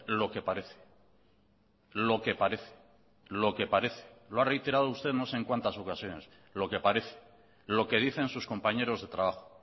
lo que parece lo que parece lo que parece lo ha reiterado usted no sé en cuántas ocasiones lo que parece lo que dicen sus compañeros de trabajo